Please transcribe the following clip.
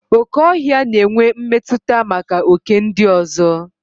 Okè ọhịa na-enwe mmetụta maka oké ndị ọzọ.